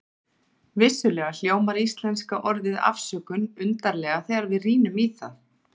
Vissulega hljómar íslenska orðið afsökun undarlega þegar við rýnum í það.